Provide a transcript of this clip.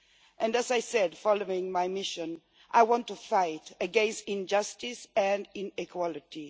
And, as I said, following my mission, I want to fight against injustice and inequality.